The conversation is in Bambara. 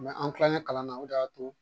an Kilalen kalan na o de y'a to